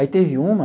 Aí teve uma,